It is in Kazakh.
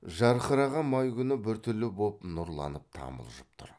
жарқыраған май күні біртүрлі боп нұрланып тамылжып тұр